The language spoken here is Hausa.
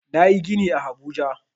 Nayi gini a habuja